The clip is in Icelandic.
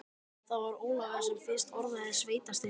Það var Ólafur sem fyrst orðaði sveitarstyrk.